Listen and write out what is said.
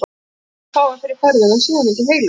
Ég býst við hún fái fyrir ferðina sé hún ekki heilög.